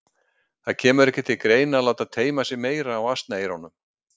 Það kemur ekki til greina að láta teyma sig meira á asnaeyrunum.